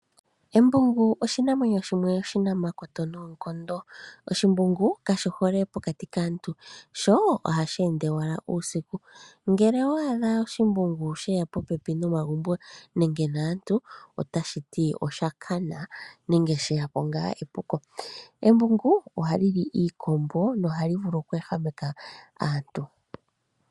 Embungu oshinanwenyo shimwe oshinamakoto noonkondo, kashi hole pokati kaantu sho ohashi ende ashike uusiku. Ngele owa adha she ya popepi naantu nenge nomagumbo otashi ti osha kana nenge sheya po epuko, ohali Ii iikombo nohali vulu okweehameka aantu.